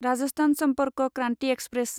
Rajasthan Sampark Kranti express